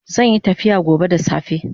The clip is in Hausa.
Zanyi tafiya gobe da safe